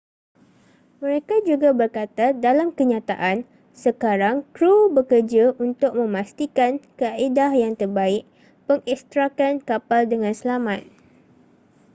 mereka juga berkata dalam kenyataan sekarang krew bekerja untuk memastikan kaedah yang terbaik pengekstrakan kapal dengan selamat